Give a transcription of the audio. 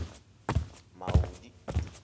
maudi